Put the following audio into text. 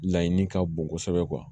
Laɲini ka bon kosɛbɛ